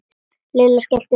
Lilla skellti upp úr.